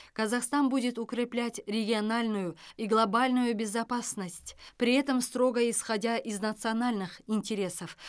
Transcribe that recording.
казахстан будет укреплять региональную и глобальную безопасность при этом строго исходя из национальных интересов